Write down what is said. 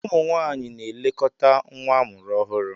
Ụmụ nwaanyị na-elekọta nwa amụrụ ọhụrụ.